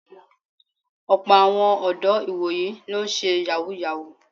Ọ̀pọ́ àwọn ọ̀dọ́ ìwòyí ló ń ṣe Yàhooyahoo